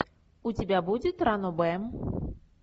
у тебя будет ранобэ